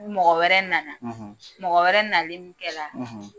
mɔgɔ wɛrɛ na na mɔgɔ wɛrɛ nalen min kɛ la